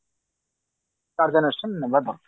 କାର୍ଯ୍ୟାନୁଷ୍ଠାନ ନବା ଦରକାର